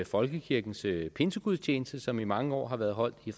folkekirkens pinsegudstjeneste som i mange år har været holdt i